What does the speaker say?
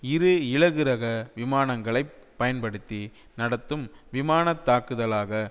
இரு இலகுரக விமானங்களைப் பயன்படுத்தி நடத்தும் விமான தாக்குதலாக